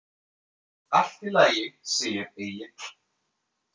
Allt í lagi, segir Egill.